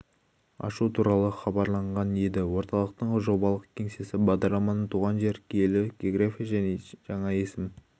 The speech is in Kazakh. ашу туралы хабарланған еді орталықтың жобалық кеңсесі бағдарламаның туған жер киелі география және жаңа есім